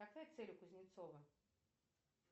какая цель у кузнецова